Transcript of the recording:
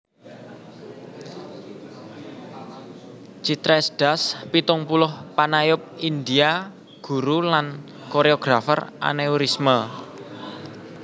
Chitresh Das pitung puluh panayub India guru lan koréografer aneurisme